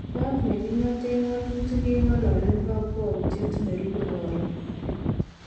Kot nekingoten ngo'tutik kongololen kokwoutyet nerube koron.